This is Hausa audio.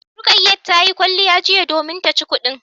Rukayat tayi kwalliya jiya domin taci kudin